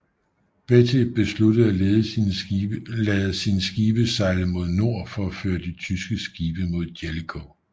Beatty besluttede at lede sine skibe sejle mod nord for at føre de tyske skibe mod Jellicoe